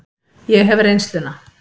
Ég hef reynsluna.